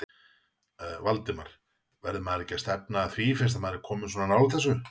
Valdimar: Verður maður ekki að stefna að því fyrst maður er kominn svona nálægt þessu?